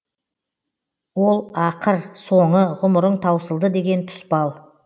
ол ақыр соңы ғұмырың таусылды деген тұспал